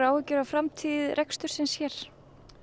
áhyggjur af framtíð rekstursins hér